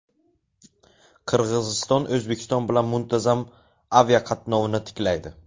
Qirg‘iziston O‘zbekiston bilan muntazam aviaqatnovni tiklaydi.